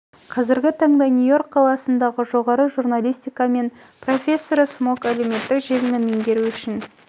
қазіргі таңда нью-иорк қаласындағы сі іеі жоғары журналистика мек нің профессоры смок әлеуметтік желіні меңгеру үшін